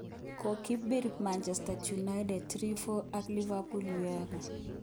Kokibir Manchester United 3-0ak Liverpool:Uefa.